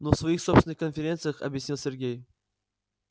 ну в своих собственных конференциях объяснил сергей